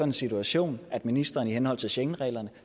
en situation at ministeren i henhold til schengenreglerne